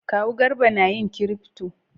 Kawu Garba na yin kirifto